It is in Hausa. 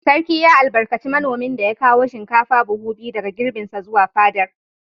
Sarki ya albarkaci manomin da ya kawo shinkafa buhu biyu daga girbinsa zuwa fadar.